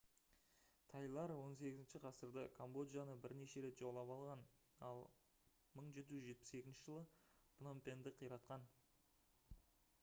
тайлар 18-ші ғасырда камбоджаны бірнеше рет жаулап алған ал 1772 жылы пномпеньді қиратқан